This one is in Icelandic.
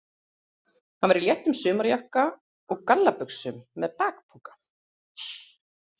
Hann var í léttum sumarjakka og gallabuxum með bakpoka.